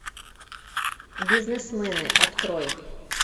бизнесмены открой